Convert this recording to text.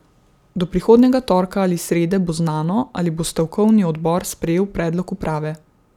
Do prihodnjega torka ali srede bo znano, ali bo stavkovni odbor sprejel predlog uprave.